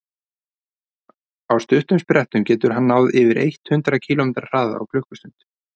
á stuttum sprettum getur hann náð yfir eitt hundruð kílómetri hraða á klukkustund